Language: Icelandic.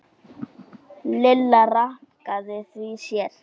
Lilla rankaði við sér.